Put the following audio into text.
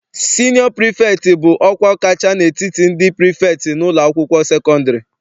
Sinịọ prifektị bụ ọkwa kacha n'etiti ndị prifektị n'ụlọakwụkwọ sekọndịrị.